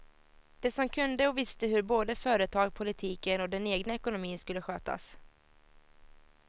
De som kunde och visste hur både företag, politiken och den egna ekonomin skulle skötas.